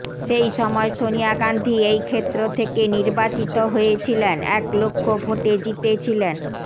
সেই সময় সনিয়া গান্ধি এই ক্ষেত্র থেকে নির্বাচিত হয়েছিলেন এক লক্ষ ভোটে জিতেছিলেন